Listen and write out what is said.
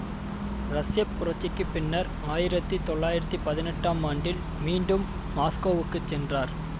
ரஷ்ய புரட்சிக்கு பின்னர் ஆயிரத்தி தொள்ளாயிரத்தி பதினெட்டாம் ஆண்டில் மீண்டும் மாஸ்கோவுக்குச் சென்றார்